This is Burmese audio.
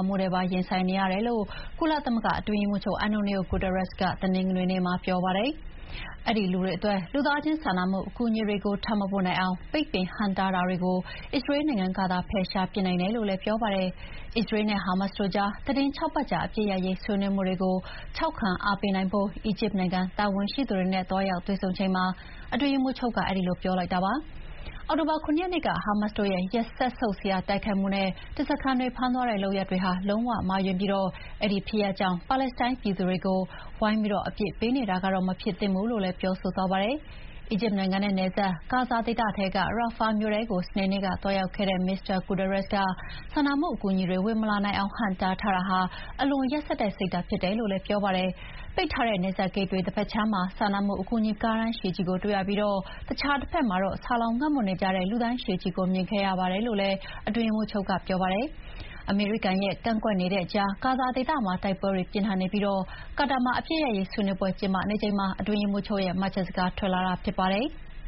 မှုနဲ့ပါ ရင်ဆိုင်နေရတယ်လို့ ကုလသမဂ္ဂအတွင်းရေးမှူးချုပ် အန်တိုနီယို ဂူတားရက်စ်က တနင်္ဂနွေနေ့မှာ ပြောပါတယ်။ အဲဒီလူတွေအတွက် လူသားချင်းစာနာမှုအကူအညီတွေကို ထပ်မပို့နိုင်အောင် ပိတ်ပင်ဟန့်တားထားတာတွေကို အစ္စရေးနိုင်ငံကသာ ဖယ်ရှားနိုင်တယ်လို့လည်း ပြောပါတယ်။ အစ္စရေးလ်နဲ့ ဟာမတ်စ်တို့ကြား သီတင်း ၆ ပတ်ကြာအပစ်ရပ်ရေး ဆွေးနွေးမှုတွေကို ထောက်ခံအားပေးနိုင်ဖို့ အီဂျစ်နိုင်ငံတာဝန်ရှိသူတွေနဲ့ သွားရောက်တွေ့ဆုံချိန်မှာ အတွင်းရေးမှူးချုပ်က အဲဒီလိုပြောလိုက်တာပါ။ အောက်တိုဘာ ၇ ရက်နေ့က ဟာမတ်စ်တို့ရဲ့စက်ဆုပ်စရာတိုက်ခိုက်မှုနဲ့ ဓားစားခံတွေဖမ်းသွားတဲ့လုပ်ရပ်တွေဟာ လုံးဝမှားယွင်းပြီး အဲဒီဖြစ်ရပ်ကြောင့် ပါလက်စတိုင်းပြည်သူတွေကို ဝိုင်းပြီးအပြစ်ပေးနေတာတော့ မဖြစ်သင့်ဘူးလို့လည်း ပြောဆိုသွားပါတယ်။ အီဂျစ်နိုင်ငံနဲ့နယ်စပ် ဂါဇာဒေသထဲက Rafah မြို့ထဲကို စနေနေ့ကသွားရောက်ခဲ့တဲ့ မစ္စတာ ဂူတာရက်စ်က စာနာမှုအကူအညီတွေဝင်မလာနိုင်အောင် ဟန့်တားထားတာဟာ အလွန်ရက်စက်တဲ့ စိတ်ဓာတ်ဖြစ်တယ်လို့လည်း ပြောပါတယ်။ ပိတ်ထားတဲ့နယ်စပ်ဂိတ်တဘက်ခြမ်းမှာ စာနာမှုအကူအညီကားတန်းရှည်ကြီးကိုတွေ့ရပြီး တခြားတဘက်မှာတော့ ဆာလောင်ငတ်မွတ်နေတဲ့ လူတန်းရှည်ကြီးကိုမြင်ခဲ့ရပါတယ်လို့လည်း အတွင်းရေးမှူးချုပ်က ပြောပါတယ်။ အမေရိကန်ရဲ့ ကန့်ကွက်နေတဲ့ကြားက ဂါဇာဒေသမှာ တိုက်ပွဲတွေပြင်းထန်နေပြီး ကာတာမှာ အပစ်ရပ်ရေးဆွေးနွေးပွဲကျင်းပနေချိန်မှာ အတွင်းရေးမှူးချုပ်ရဲ့ မှတ်ချက်စကားထွက်လာတာဖြစ်ပါတယ်။